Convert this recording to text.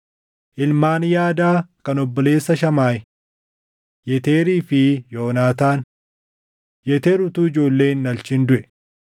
Ilmaan Yaadaa kan obboleessa Shamaayi: Yeteerii fi Yoonaataan. Yeteer utuu ijoollee hin dhalchin duʼe.